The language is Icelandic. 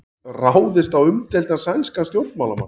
Ráðist á umdeildan sænskan stjórnmálamann